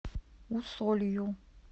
усолью